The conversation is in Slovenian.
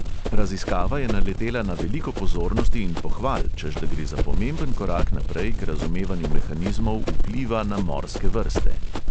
Raziskava je naletela na veliko pozornosti in pohval, češ da gre za pomemben korak naprej k razumevanju mehanizmov vpliva na morske vrste.